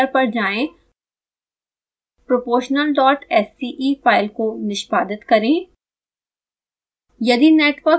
scilab editor पर जाएँ proportionalsce file को निष्पादित करें